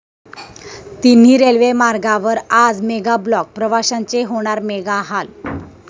तिन्ही रेल्वे मार्गांवर आज मेगा ब्लॉक, प्रवाशांचे होणार मेगाहाल